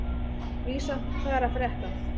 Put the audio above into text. Vísa, hvað er að frétta?